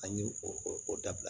An y'o o o dabila